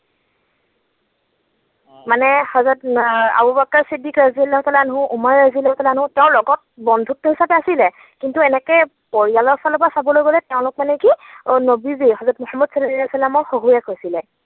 মানে হজৰত Abu Bakr Siddiqui ৰজুলক তাল্লা আনহা, উমৰ ৰজুলক তাল্লা আনহা, তেওঁৰ গলত আছিল কিন্তু এনেকৈ পৰিয়ালৰ ফালৰ পৰা চাবলৈ গলে তেওঁলোক মানে কি, নৱী যে হজৰত মোহাম্মদ ছাল্লাল্লাহু ছাল্লামৰ শহুৰেক হৈছিলে।